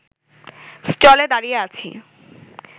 স্টলে দাঁড়িয়ে আছি